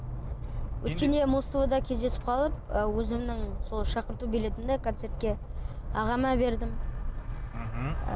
өткенде музтв да кездесіп қалып ы өзімнің сол шақырту билетімді концертке ағама бердім мхм